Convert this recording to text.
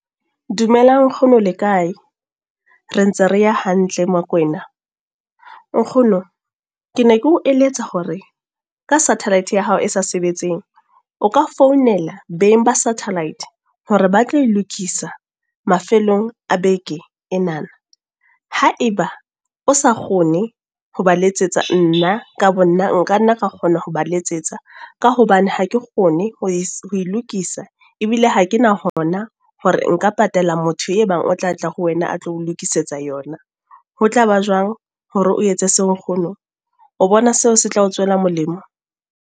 Dumelang nkgono le kae? Re ntse re ya hantle Mokwena. Nkgono ke ne ke o eletsa hore, ka satellite ya hao e sa sebetseng, o ka founela beng ba satellite hore ba tla e lokisa mafelong a beke ena. Haeba o sa kgone, ho ba letsetsa nna ka bo nna, nka nna ra kgona ho ba letsetsa. Ka hobane ha ke kgone ho e lokisa. Ebile ha ke na hona hore nka patala motho e bang o tla tla ho wena a tlo o lokisetsa yona. Ho tlaba jwang hore o etse seo nkgono? O bona seo se tla tswela molemo?